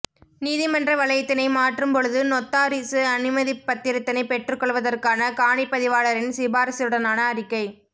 நீதிமன்ற வலயத்தினை மாற்றும் பொழுது நொத்தாரிசு அனுமதிப்பத்திரத்தினைப் பெற்றுக் கொள்வதற்கான காணிப்பதிவாளரின் சிபாரிசுடனான அறிக்கை